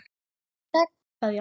Kær Kveðja.